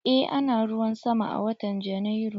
Eh ana ruwan sama a watan Janairu.